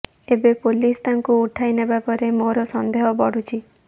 ଏବେ ପୋଲିସ ତାଙ୍କୁ ଉଠାଇ ନେବା ପରେ ମୋର ସନ୍ଦେହ ବଢୁଛି